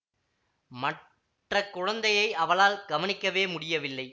மற்ற குழந்தையை அவளால் கவனிக்கவே முடியவில்லை